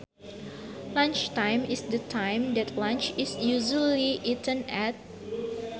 Lunchtime is the time that lunch is usually eaten at